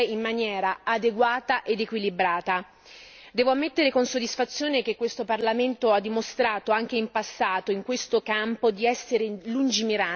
Devo ammettere con soddisfazione che questo Parlamento ha dimostrato, anche in passato, in questo campo di essere lungimirante, di esserlo tra le diverse Istituzioni europee.